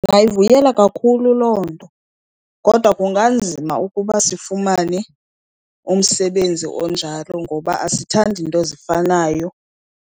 Ndingayivuyela kakhulu loo nto, kodwa kunganzima ukuba sifumane umsebenzi onjalo ngoba asithandi nto zifanayo.